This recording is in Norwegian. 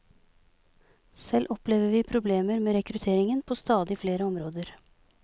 Selv opplever vi problemer med rekrutteringen på stadig flere områder.